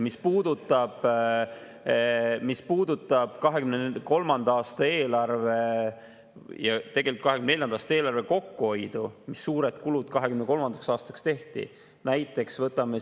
Mis puudutab 2023. aasta eelarve ja tegelikult ka 2024. eelarve kokkuhoidu, siis 2023. aastaks oli tehtud väga suured kulutused.